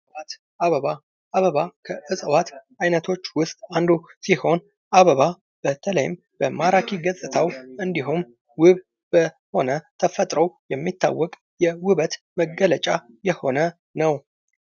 እፅዋት አበባ ።አበባ ከእጽዋት አይነቶች ውስጥ አንዱ ሲሆን አበባ በተለይም በማራኪ ገጽታው እንዲሁም ውብ በሆነ ተፈጥሮ የሚታወቅ የውበት መገለጫ የሆነ ነው።